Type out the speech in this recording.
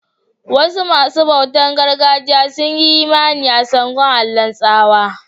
Wasu masun bautan gargajiya sun yi Imani a Sango, Allah'n tsawa.